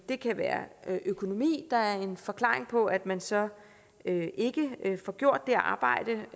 det kan være økonomi der er en forklaring på at man så ikke får gjort det arbejde